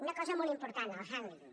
una cosa molt important el handling